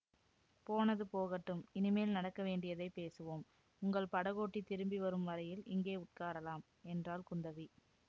போனது போகட்டும் இனிமேல் நடக்க வேண்டியதை பேசுவோம் உங்கள் படகோட்டி திரும்பிவரும் வரையில் இங்கே உட்காரலாம் என்றாள் குந்தவி